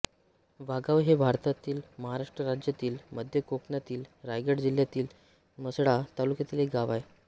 वाघाव हे भारतातील महाराष्ट्र राज्यातील मध्य कोकणातील रायगड जिल्ह्यातील म्हसळा तालुक्यातील एक गाव आहे